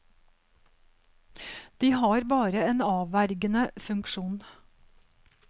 De har bare en avvergende funksjon.